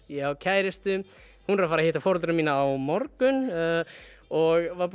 ég á kærustu hún er að fara hitta foreldra mína á morgun og var